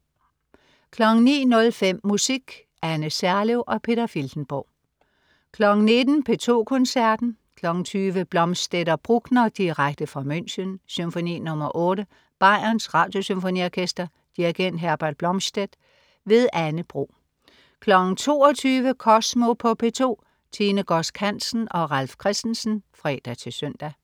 09.05 Musik. Anne Serlev og Peter Filtenborg 19.00 P2 Koncerten. 20.00 Blomstedt og Bruckner direkte fra München. Symfoni nr. 8. Bayerns Radiosymfoniorkester. Dirigent: Herbert Blomstedt. Anne Bro 22.00 Kosmo på P2. Tine Godsk Hansen og Ralf Christensen (fre-søn)